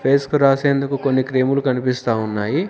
Face కు రాసేందుకు కొన్ని క్రీములు కనిపిస్తా ఉన్నాయి.